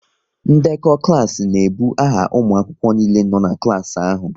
Ndekọ klas n'ebu aha ụmụ akwụkwọ niile nọ n'klas ahụ